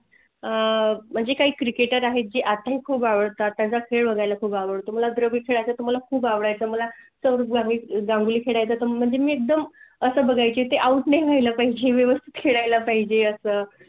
आह म्हणजे काई Cricketer आहेत जे आता खूप आवडतात त्यांचा खेळ बघायला खूब आवडतो. होआव तुम्हाला दरवेळी तुम्हाला खूप आवडायचं. मला गांगुली म्हणजे एकदम असं बघाय ची ते Out व्हाय ला पाहिजे. व्यवस्थित खेळायला पाहिजे असं आह